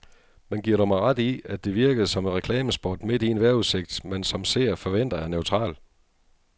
Men giver du mig ret i, at det virkede som et reklamespot midt i en vejrudsigt, man som seer forventer er neutral.